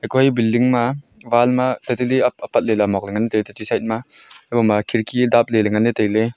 koi building ma wall ma tatali apatla ley muak ngan taiya tatati side ma haiboma khidki dabley ley nagnley tailey.